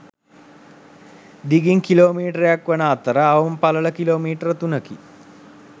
දිගින් කිලෝ මීටරක් වන අතර අවම පළල කිලෝමීටර තුනකි.